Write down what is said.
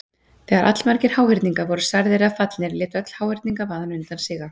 þegar allmargir háhyrningar voru særðir eða fallnir lét öll háhyrningavaðan undan síga